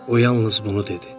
O yalnız bunu dedi.